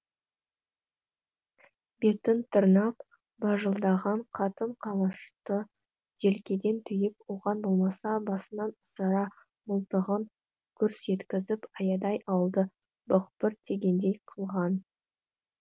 бетін тырнап бажылдаған қатын қалашты желкеден түйіп оған болмаса басынан асыра мылтығын гүрс еткізіп аядай ауылды бықпырт тигендей қылған